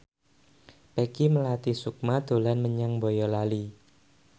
Peggy Melati Sukma dolan menyang Boyolali